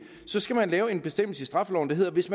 så skal man lave en bestemmelse i straffeloven der lyder at hvis